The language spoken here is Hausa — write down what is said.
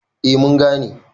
A mun gane